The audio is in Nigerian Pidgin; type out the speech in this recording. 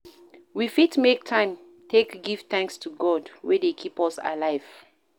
We fit take time take give thanks to God wey dey keep us alive